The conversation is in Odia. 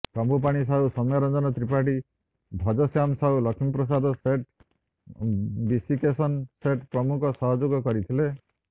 କମ୍ବୁପାଣି ସାହୁ ସୌମ୍ୟ ରଞ୍ଜନ ତ୍ରିପାଠୀ ଭଜଶ୍ୟାମ ସାହୁ ଲଷ୍ମୀପ୍ରସାଦ ସେଠ ବିଶିକେସନ ସେଠ ପ୍ରମୁଖ ସହଯୋଗ କରିଥିଲେ